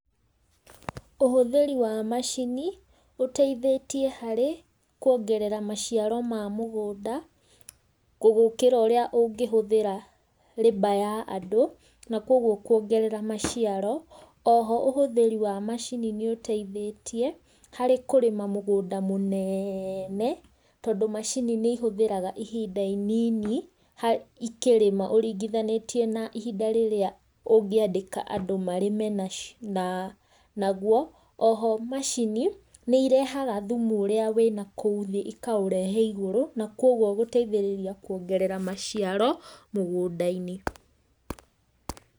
Ũhũthĩri wa macini ũteithĩtie harĩ kuongerera maciaro ma mũgũnda gũkĩra ũrĩa ũngĩhũthĩra l abour ya andũ na koguo kuongerera maciaro, oho ũhũthĩri wa macini nĩũteithĩtie harĩ kũrĩma mũgũnda mũnene tondũ macini nĩihũthĩraga ihinda inini ikĩrĩma ũringithanĩtie na ihinda rĩrĩa ũngĩandĩka andũ marĩme naguo, oho macini nĩirehaga thũmũ ũrĩa ũrĩ na kũu thĩ ikaũrehe igũrũ koguo gũteithia kũongerera maciaro mũgũnda-inĩ.